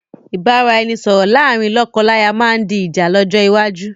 Ìbáraẹnisọọ̀rọ̀ láàrín lọ́kọ-láya máa ma di ìjà lọ́jọ́ iwájú